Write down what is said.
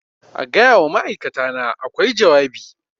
A gaya wa ma'aikatana a kwai jawabi